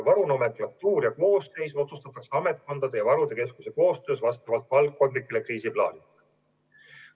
Varu nomenklatuur ja koosseis otsustatakse ametkondade ja varude keskuse koostöös vastavalt valdkondlikele kriisiplaanidele.